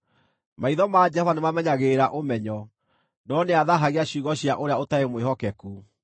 Maitho ma Jehova nĩmamenyagĩrĩra ũmenyo, no nĩathaahagia ciugo cia ũrĩa ũtarĩ mwĩhokeku.